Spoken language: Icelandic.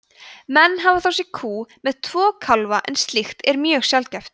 menn hafa þó séð kú með tvo kálfa en slíkt er mjög sjaldgæft